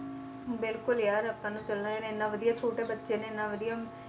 ਬਿਲਕੁਲ ਯਾਰ ਆਪਾਂ ਨੂੰ ਇੰਨਾ ਵਧੀਆ ਛੋਟੇ ਬੱਚੇ ਨੇ ਇੰਨਾ ਵਧੀਆ,